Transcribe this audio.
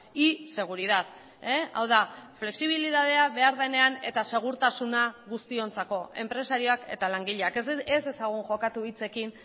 y seguridad hau da flexibilidadea behar denean eta segurtasuna guztiontzako enpresariak eta langileak ez dezagun jokatu hitzekin